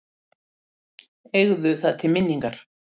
Eigðu það til minningar.